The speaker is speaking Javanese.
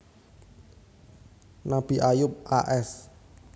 Nabi Ayub a s